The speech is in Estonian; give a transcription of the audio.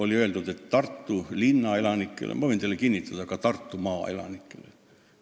Ei meeldi see Tartu linna elanikele ja võin teile kinnitada, ka terve Tartumaa elanikele.